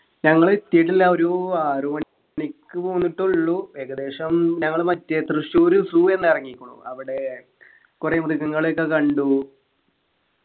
ഞങ്ങൾ എത്തീട്ടില്ല ഒരു ആറുമണി ക്ക് പോന്നിട്ടെ ഉള്ളു ഏകദേശം ഞങ്ങള് മറ്റേ തൃശൂർ zoo ചെന്നേറങ്ങീക്കുണു അവിടെ കൊറേ മൃഗങ്ങളെ ഒക്കെ കണ്ടു